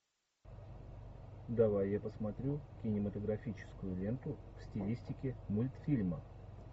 давай я посмотрю кинематографическую ленту в стилистике мультфильма